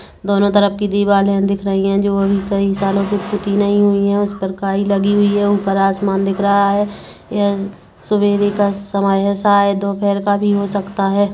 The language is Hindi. दोनों तरफ की दिवाले दिख रही हैं जो कई सालों से पुत्ती नहीं हुई हैं उस पर काई लगी हुई है ऊपर आसमान दिख रहा है यह सवेरे का समय है शायद दोपहर का भी हो सकता है।